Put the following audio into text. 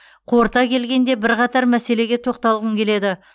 қорыта келгенде бірқатар мәселеге тоқталғым келеді